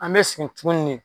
An mɛ sigin tuguni ne